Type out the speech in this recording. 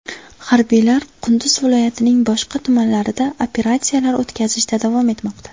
Harbiylar Qunduz viloyatining boshqa tumanlarida operatsiyalar o‘tkazishda davom etmoqda.